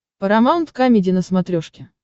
парамаунт камеди на смотрешке